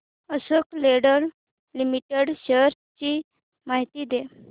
Ashok Leyland limited shares ची माहिती द्या